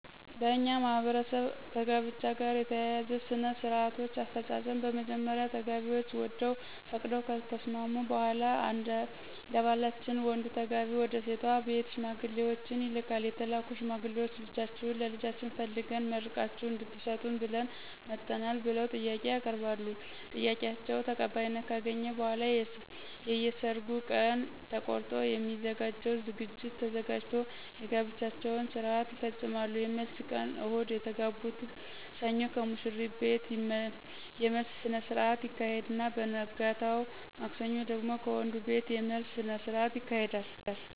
በእኛ ማህበረሰብ ከጋብቻ ጋር የተያያዙ ሥነ -ስርአቶች አፈጻጸም በመጀመሪያ ተጋቢዎች ወደው ፈቅደው ከተስማሙ በሗላ እደባህላችን ወንዱ ተጋቢ ወደሴቷ ቤት ሽማግሌዎችን ይልካል የተላኩት ሽማግሌዎች ልጃችሁን ለልጃችን ፈልገን መርቃችሁ እድትሰጡን ብለን መጠናል ብለው ጥያቄ ያቀርባሉ ጥያቄአቸው ተቀባይነት ካገኘ በሗላ የየሰርጉ ቀን ተቆርጦ የሚዘጋጀው ዝግጅት ተዘጋጅቶ የጋብቻቸውን ስርአት ይፈጾማሉ የመልስ ቀን እሁድ የተጋቡትን ሰኞ ከሙሽሪት ቤት የመልስ ስነስረአት ይካሄድና በነገታው ማክሰኞ ደግሞ ከወንዱቤት የመልስ ስነስርአት ይካሄዳል።